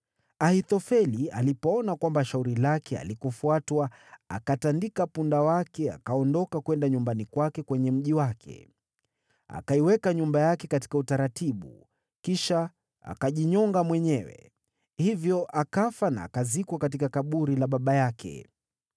Ahithofeli alipoona kwamba shauri lake halikufuatwa, akatandika punda wake, akaondoka kwenda nyumbani kwake kwenye mji wake. Akaiweka nyumba yake katika utaratibu, kisha akajinyonga mwenyewe. Hivyo akafa na akazikwa katika kaburi la baba yake.